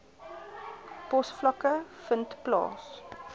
posvlakke vind plaas